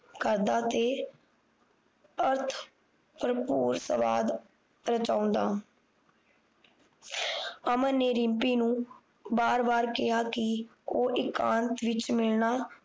ਕਰਦਾ ਤੇ ਅਰਥ ਭਰਬੂਰ ਸਵਾਦ ਰਚਾਉਂਦਾ ਅਮਨ ਨੇ ਰਿਮਪੀ ਨੂੰ ਬਾਰ ਬਾਰ ਕਿਹਾ ਕਿ ਉਹ ਇਕਾਂਤ ਵਿੱਚ ਮਿਲਣਾ